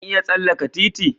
Zan iya tsallaka titi?